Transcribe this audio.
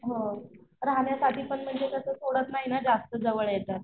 हो राहण्यासाठीपण म्हणजे कस थोडसये ना जास्त जवळ येता